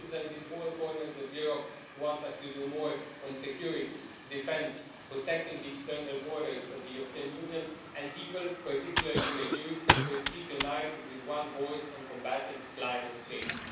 Citizens in all corners of Europe want us to do more on security, defence, protecting the external borders of the European Union and people, particularly our youth, who speak united with one voice on combating climate change.